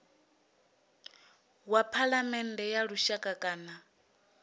wa phalamennde ya lushaka kana